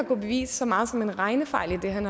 påvise så meget som en regnefejl i det han